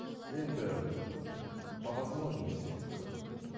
енді по возможности